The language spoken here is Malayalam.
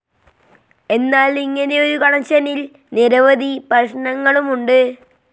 എന്നാൽ ഇങ്ങനെയൊരു കണക്ഷനിൽ നിരവധി പ്രശ്നങ്ങളുമുണ്ട്.